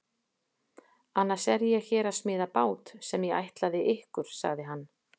Annars er ég hér að smíða bát sem ég ætlaði ykkur, sagði hann.